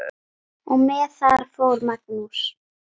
Og með það fór Magnús.